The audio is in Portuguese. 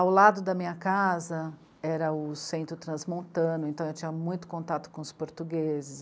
Ao lado da minha casa era o centro transmontano, então eu tinha muito contato com os portugueses.